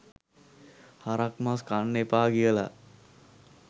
හරක් මස් කන්න එපා කියලා